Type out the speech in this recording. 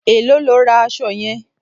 Èló lo ra aṣọ yẹn?